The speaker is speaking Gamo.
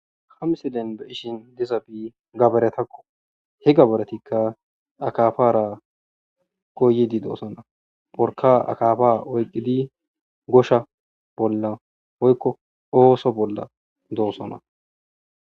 Ha misileza bolla beetizay gabaretakko.